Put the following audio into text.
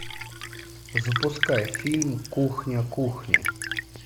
запускай фильм кухня кухни